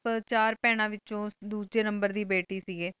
ਵੇਚੁਨ ਡੋਜੀਨੰਬਰ ਦੇ ਬਾਤੇ ਸੇ ਗੀ ਮਾਤਾ ਪੇਰਾਮੇ ਡੀ ਕੋਲ ਹੂਯ ਸੇ ਹਨ ਜੀ ਟੀ ਆਪ ਆਪ